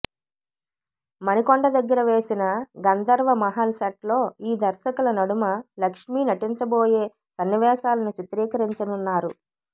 మణికొండ దగ్గర వేసిన గంధర్వమహల్ సెట్ లో ఈ దర్శకుల నడుమ లక్ష్మి నటించబోయే సన్నివేశాలను చిత్రీకరించనున్నారు